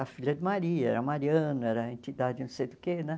A Filha de Maria, era Mariana era a entidade não sei do que, né?